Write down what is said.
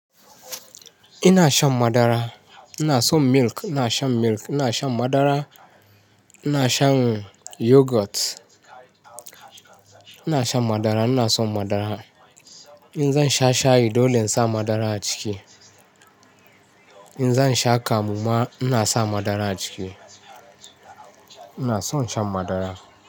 Ina shan madara. Ina son milk, ina shan milk, ina shan madara, ina shan yogurt. Ina shan madara, ina son madara. In zan sha shayi dole in sa madara a ciki. In zan sha kamu ma ina sa madara a ciki. Ina son shan madara.